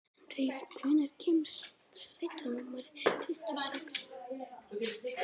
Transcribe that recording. Henrý, hvenær kemur strætó númer tuttugu og sex?